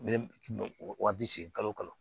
U bɛ wa bi seegin kalo kɔnɔ